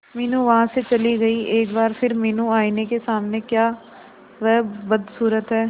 मीनू वहां से चली गई एक बार फिर मीनू आईने के सामने क्या वह बदसूरत है